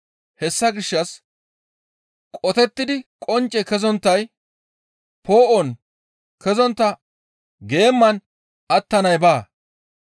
Hessa gishshas qotettidi qoncce kezonttay, poo7on kezontta geeman attanay baa.